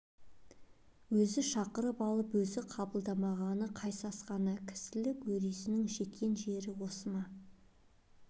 өзі шақырып алып өзі қабылдамағаны қай сасқаны кісілік өресінің жеткен жер осы ма